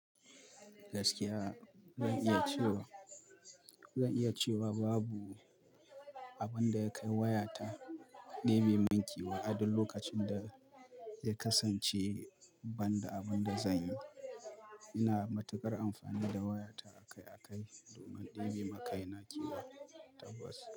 Gaskiya zan iya cewa, zan iya cewa babu abun da ya kai wayata ɗebe min kewa a duk okacin da ya kasance banda abin da zan yi. Ina matuƙar amfani da wayata akai-akai domin ɗebe ma kai na kewa tabbas.